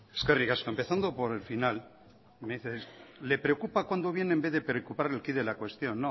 eskerrik asko empezando por el final me dice le preocupa cuándo viene en vez de preocuparle el quid de la cuestión no